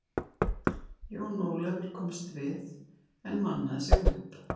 Jón Ólafur komst við, en mannaði sig upp.